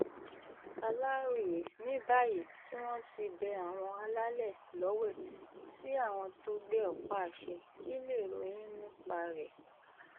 aláròye ní báyìí um tí wọ́n ti bẹ àwọn alálẹ̀ lọ́wẹ̀ sí àwọn tó gbé ọ̀pá-àṣẹ kí lèrò yín nípa rẹ̀ um